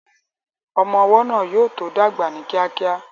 Ọmọ ọwọ́ náà yóò tó dàgbà ní kíákíá